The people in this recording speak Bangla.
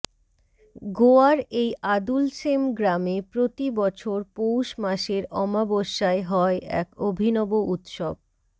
গোয়ার এই আদুলশেম গ্রামে প্রতি বছর পৌষ মাসের অমাবস্যায় হয় এক অভিনব উৎসব